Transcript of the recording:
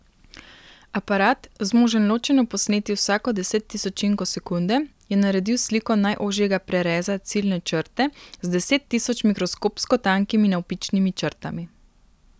Aparat, zmožen ločeno posneti vsako desettisočinko sekunde, je naredil sliko najožjega prereza ciljne črte z deset tisoč mikroskopsko tankimi navpičnimi črtami.